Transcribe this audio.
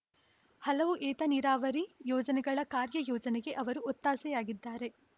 ಹಲವು ಏತ ನೀರಾವರಿ ಯೋಜನೆಗಳ ಕಾರ್ಯಯೋಜನೆಗೆ ಅವರು ಒತ್ತಾಸೆಯಾಗಿದ್ದಾರೆ